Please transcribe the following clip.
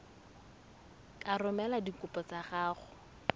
ka romela dikopo tsa gago